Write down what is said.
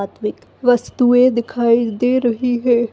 अत्विक वस्तुएँ दिखाई दे रही है।